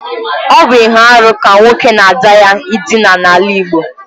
Ọ bụ ihe arụ ka nwoke na ada ya ịdina n’ala Igbo